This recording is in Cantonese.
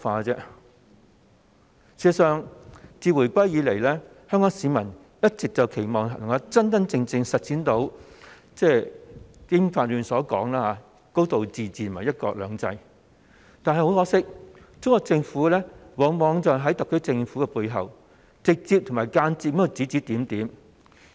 事實上，自回歸後，香港市民一直期望可以真正實踐《基本法》中提到的"高度自治"和"一國兩制"，但很可惜，中國政府往往在特區政府背後，直接及間接地指指點點。